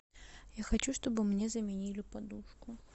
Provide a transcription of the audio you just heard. я хочу чтобы мне заменили подушку